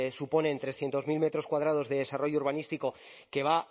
suponen trescientos mil metros cuadrados de desarrollo urbanístico que va